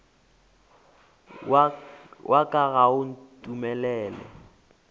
wa ka ga o ntumelele